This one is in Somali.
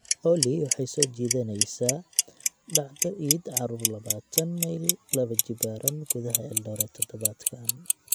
olly waxay soo jeedinaysaa dhacdo iid caruur labaatan mayl laba jibaaran gudaha eldoret todobaadkan